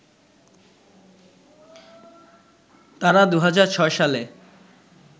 তারা ২০০৬ সালে